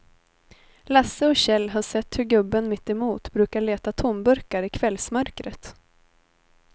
Lasse och Kjell har sett hur gubben mittemot brukar leta tomburkar i kvällsmörkret.